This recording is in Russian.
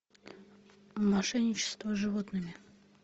мошенничество с животными